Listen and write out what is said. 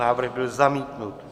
Návrh byl zamítnut.